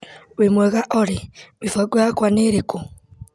Wĩ mwega olĩ ,mĩbango yakwa nĩ ĩrĩkũ?